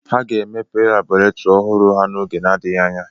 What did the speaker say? Ha ga-emepe labọretiri ọhụrụ ha oge na-adịghị anya.